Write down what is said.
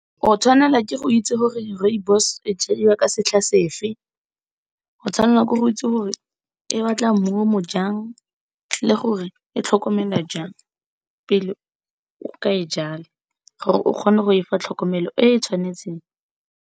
O tshwanela ke go itse gore rooibos e jadiwa ka setlha sefe, o tshwanna ke go itse gore e batla mmu o mo jang le gore e tlhokomelwa jang, pele o ka e jala gore o kgone go efa tlhokomelo e e tshwanetseng.